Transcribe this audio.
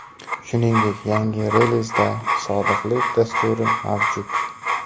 Shuningdek yangi relizda sodiqlik dasturi mavjud.